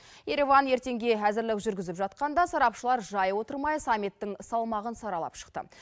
ереван ертеңге әзірлеу жүргізіп жатқанда сарапшылар жай отырмай саммиттің салмағын саралап шықты